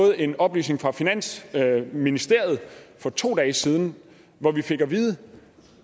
en oplysning fra finansministeriet for to dage siden hvor vi fik at vide